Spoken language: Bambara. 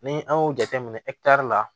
Ni an y'o jateminɛ la